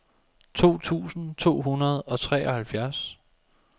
to tusind to hundrede og treoghalvfjerds